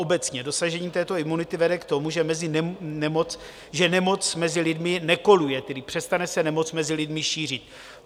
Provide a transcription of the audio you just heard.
Obecně dosažení této imunity vede k tomu, že nemoc mezi lidmi nekoluje, tedy přestane se nemoc mezi lidmi šířit.